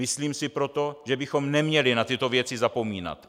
Myslím si proto, že bychom neměli na tyto věci zapomínat.